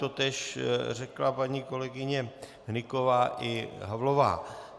Totéž řekla paní kolegyně Hnyková i Havlová.